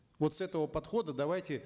вот с этого подхода давайте